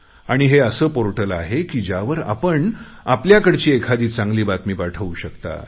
आणि हे असं पोर्टल आहे ज्यावर आपण आपल्याकडची एखादी चांगली बातमी पाठवू शकता